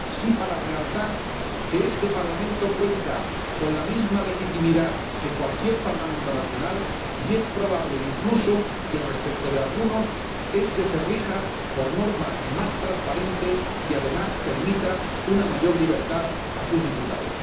Lo que sí cabe es realzar que este Parlamento cuenta con la misma legitimidad que cualquier Parlamento nacional, e incluso es probable que, respecto de algunos, este se rija por normas más transparentes y, además, permita una mayor libertad a sus diputados.